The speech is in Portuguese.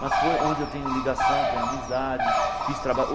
Mas foi onde eu tenho ligação, tenho amizade, fiz